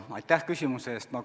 Aitäh küsimuse eest!